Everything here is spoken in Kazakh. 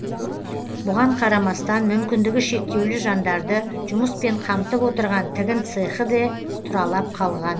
бұған қарамастан мүмкіндігі шектеулі жандарды жұмыспен қамтып отырған тігін цехі де тұралап қалған